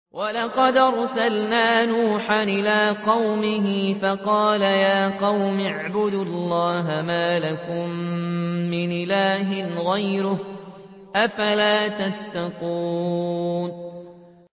وَلَقَدْ أَرْسَلْنَا نُوحًا إِلَىٰ قَوْمِهِ فَقَالَ يَا قَوْمِ اعْبُدُوا اللَّهَ مَا لَكُم مِّنْ إِلَٰهٍ غَيْرُهُ ۖ أَفَلَا تَتَّقُونَ